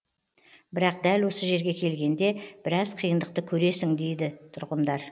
бірақ дәл осы жерге келгенде біраз қиындықты көресің дейді тұрғындар